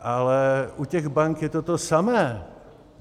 Ale u těch bank je to to samé.